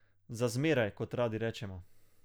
Za zmeraj, kot radi rečemo.